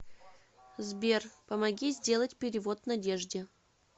сбер помоги сделать перевод надежде